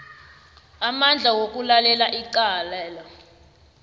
amandla wokulalela icalelo